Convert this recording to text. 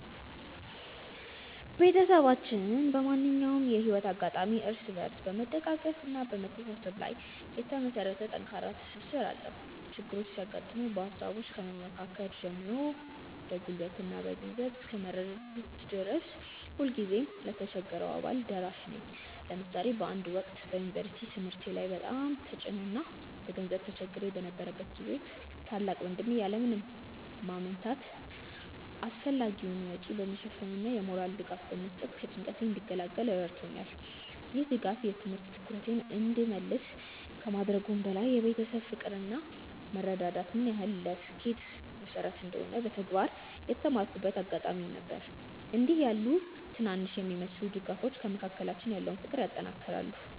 ቤተሰባችን በማንኛውም የህይወት አጋጣሚ እርስ በርስ በመደጋገፍና በመተሳሰብ ላይ የተመሰረተ ጠንካራ ትስስር አለው። ችግሮች ሲያጋጥሙ በሃሳብ ከመመካከር ጀምሮ በጉልበትና በገንዘብ እስከ መረዳዳት ድረስ ሁልጊዜም ለተቸገረው አባል ደራሽ ነን። ለምሳሌ በአንድ ወቅት በዩኒቨርሲቲ ትምህርቴ ላይ በጣም ተጭኖኝ እና በገንዘብ ተቸግሬ በነበረበት ጊዜ ታላቅ ወንድሜ ያለ ምንም ማመንታት አስፈላጊውን ወጪ በመሸፈን እና የሞራል ድጋፍ በመስጠት ከጭንቀቴ እንድገላገል ረድቶኛል። ይህ ድጋፍ የትምህርት ትኩረቴን እንድመልስ ከማድረጉም በላይ የቤተሰብ ፍቅር እና መረዳዳት ምን ያህል ለስኬት መሰረት እንደሆነ በተግባር የተማርኩበት አጋጣሚ ነበር። እንዲህ ያሉ ትናንሽ የሚመስሉ ድጋፎች በመካከላችን ያለውን ፍቅር ያጠናክራሉ።